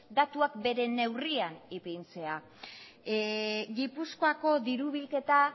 datuak bere neurrian ipintzea gipuzkoako diru bilketa